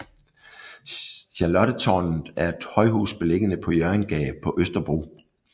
Charlottetårnet er et højhus beliggende på Hjørringgade på Østerbro